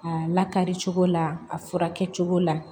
A lakari cogo la a fura kɛ cogo la